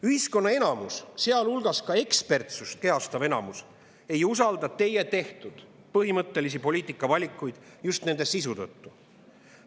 Ühiskonna enamus, sealhulgas ekspertlust kehastav enamus, ei usalda teie tehtud põhimõttelisi poliitikavalikuid just nende sisu tõttu.